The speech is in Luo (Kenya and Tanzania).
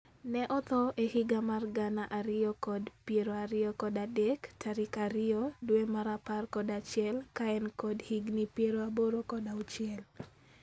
Ne otho e higa mar gana ariyo kod piero ariyo kod adek tarik ariyo due mar apar kod achiel ka en kod higni piero aboro kod auchiel